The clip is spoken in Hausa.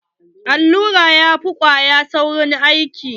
Allura ya fi kwaya saurin aiki.